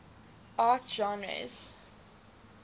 art genres